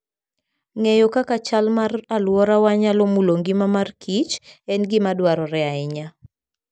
Ng'eyo kaka chal mar alworawa nyalo mulo ngima mor kich, en gima dwarore ahinya.